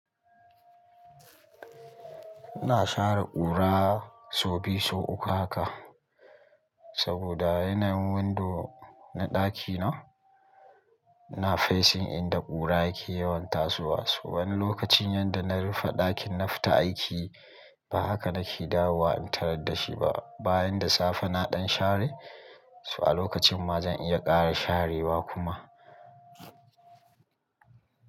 Ina share ƙura sau biyu sau uku haka, saboda yanayin windo na ɗakina yana facing inda ƙura yake yawan tasowa so. Wani lokacin yanda na rufe ɗakin na fita aiki ba haka nake dawowa in tarar da shi ba. Bayan da safe na ɗan share, so a lokacin ma zan iya ƙara sharewa kuma.